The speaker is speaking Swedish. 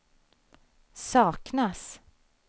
saknas